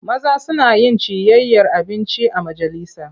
Maza suna yin ciyayyar abinci a majalisa.